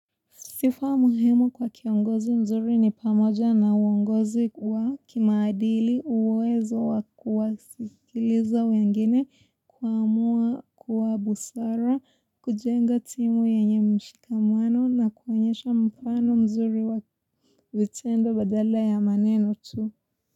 Sifaa muhimu kwa kiongozi mzuri ni pamoja na uongozi wa kimadili uwezo wa kuwasikiliza wengine kuamua kwa busara, kujenga timu yenye mshikamwano na kwenyesha mfano mzuri wa vitendo badala ya maneno tu.